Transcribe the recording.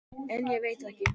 En ég veit ekki.